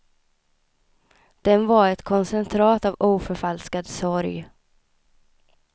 Den var ett koncentrat av oförfalskad sorg.